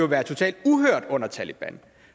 været totalt uhørt under taleban